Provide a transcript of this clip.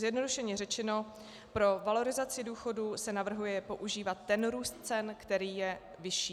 Zjednodušeně řečeno pro valorizaci důchodů se navrhuje používat ten růst cen, který je vyšší.